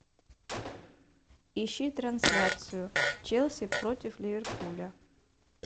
ищи трансляцию челси против ливерпуля